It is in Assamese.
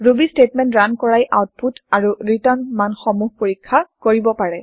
ৰুবী চ্টেটমেন্ট ৰান কৰাই আওতপুত আৰু ৰিটাৰ্ণ মান সমূহ পৰীক্ষা কৰিব পাৰে